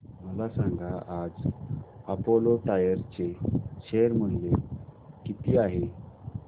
मला सांगा आज अपोलो टायर्स चे शेअर मूल्य किती आहे